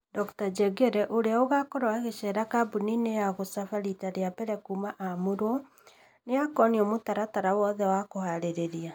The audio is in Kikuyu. Dr Njeng’ere, ũrĩa agakorwo agĩceera kambũni-inĩ ya gũcaba riita rĩa mbere kuuma aamũrwo, nĩ akonio mũtaratara wothe wa kũharĩria.